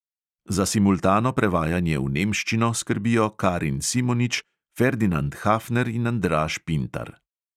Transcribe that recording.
Za simultano prevajanje v nemščino skrbijo karin simonič, ferdinand hafner in andraž pintar.